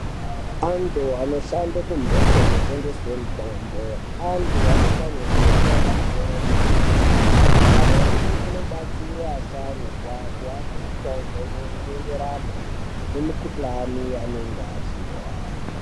Antu anoshanda kumhatso inotengeswe mitombo antu anenge ane fundo yepamusoro yepaderadera amweni anobatsire asharukwa kuape mitombo inoenderane nemikhuhlani yaanenge achihwa.